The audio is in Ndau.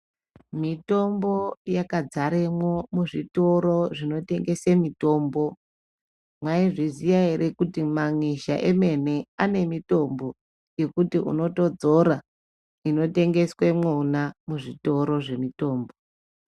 Mitombo yakadzaremwo muzvitoro zvinotengese mitombo. Mwaizviziya ere kuti manyizha emene ane mitombo, yekuti unotodzora, inotengeswe mwona muzvitoro zvemitombo.